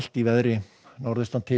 í veðri norðaustan til